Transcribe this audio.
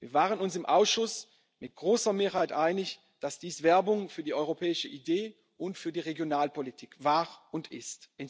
gelebter Solidarität. Wir waren uns im Ausschuss mit großer Mehrheit einig, dass dies Werbung für die europäische Idee und für die Regionalpolitik